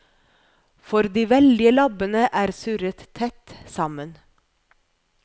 For de veldige labbene er surret tett sammen.